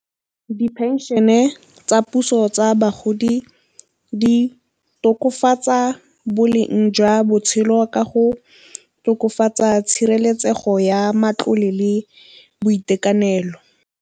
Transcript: Di-pension-e tsa puso tsa bagodi di tokafatsa boleng jwa botshelo ka go tokafatsa tshireletsego ya matlole le boitekanelo.